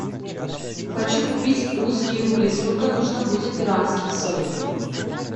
хочу купить русские рубли сколько нужно будет перуанских солей